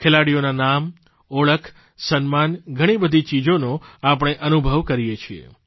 ખેલાડીઓનાં નામ ઓળખ સન્માન ઘણી બધી ચીજોનો આપણે અનુભવ કરીએ છીએ